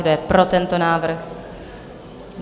Kdo je pro tento návrh?